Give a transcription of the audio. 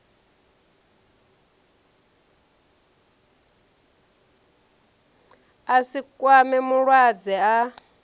a si kwame mulwadze a